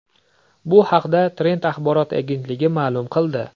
Bu haqda Trend axborot agentligi ma’lum qildi .